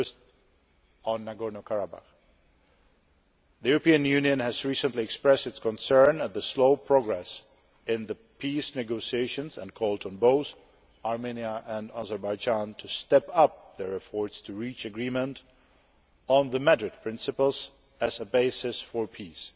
First, on Nagorno Karabakh, the European Union has recently expressed its concern at the slow progress in the peace negotiations and it called on both Armenia and Azerbaijan to step up their efforts to reach agreement on the Madrid principles' as a basis for peace.